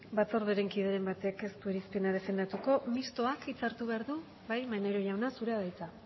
batzorderen kideren batek ez du irizpena defendatuko mistoak hitza hartu behar du bai maneiro jauna zurea da hitza